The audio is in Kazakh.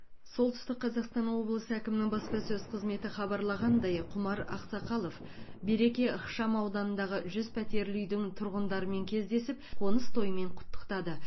солтүстік қазақстан облысы әкімінің баспасөз қызметі хабарлағандай құмар ақсақалов береке ықшамауданындағы жүз пәтерлі үйдің тұрғындарымен кездесіп қоныс тоймен құттықтады